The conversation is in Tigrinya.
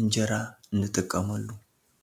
እንጀራ ንጥቀመሉ።